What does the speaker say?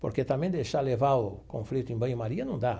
Porque também deixar levar o conflito em banho-maria não dá.